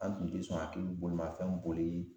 An tun ti sɔn a k'i bolimanfɛn boli